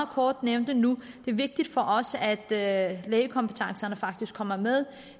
kort nævnte nu er det vigtigt for os at lægekompetencerne faktisk kommer med